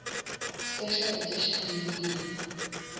special edition dvd